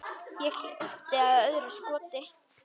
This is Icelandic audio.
Ég hleypti af öðru skoti.